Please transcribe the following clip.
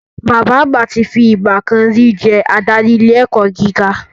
Bàbá àgbà ti fi ìgbà kan ri jẹ́ adarí ilé ẹ̀kọ́ gíga